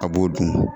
A b'o dun